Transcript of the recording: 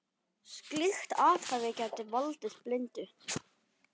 Slíkt athæfi gæti valdið blindu.